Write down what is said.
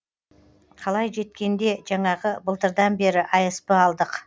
қалай жеткенде жаңағы былтырдан бері асп алдық